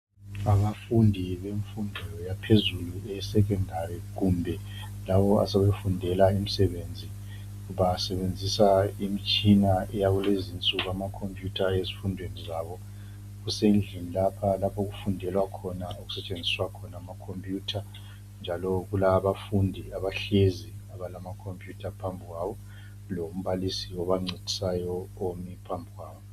Abafundi bemfundo yaphezulu eye Secondary kumbe labo asebefundela imisebenzi, basebenzisa imitshina yakulezinsuku ama khompuyutha ezifundweni zabo. Kusendlini lapha lapho okufundelwa khona okusetshenziswa khona ama khompuyutha. Njalo kulabafundi abahlezi abalamakhompuyutha phambi kwabo lombalisi obancedisayo omi phambi kwabo.